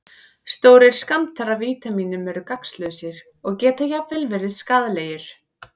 Stórir skammtar af vítamínum eru gagnslausir og geta jafnvel verið skaðlegir.